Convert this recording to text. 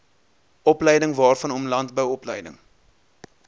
opleidingwaarvanom landbou opleiding